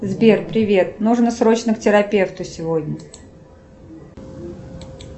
сбер привет нужно срочно к терапевту сегодня